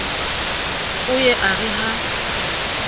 o ye a re ha